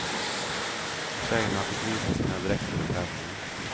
Tjejerna fick visa sina dräkter och klänningar.